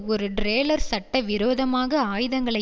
ஒரு ட்ரோலர் சட்டவிரோதமாக ஆயுதங்களை